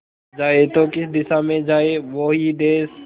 जाए तो किस दिशा में जाए वो ही देस